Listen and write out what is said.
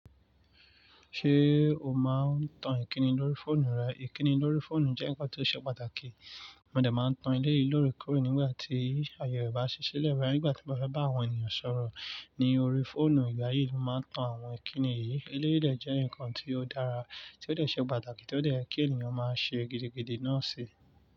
Ṣé o máa ń tan ìkíni lórí fóònù rẹ? Ìkíni lórí fóònù jẹ́ nǹkan tó ṣe pàtàkì. Mo dẹ̀ máa ń tan eléyìí lóre kóre nígbà tí ayé o bá ṣi sile nígbà tí mo bá fẹ́ bá àwọn ènìyàn sọ̀rọ̀ ní orí fóònù. Ìgbà yìí mó máa ń tan àwọn ìkíni yìí. Eléyìí dẹ̀ jẹ́ nǹkan tí ó dára, tí ó dẹ̀ ṣe pàtàkì, tí ó dẹ̀ kí ènìyàn máa ṣe gidigidi náà si.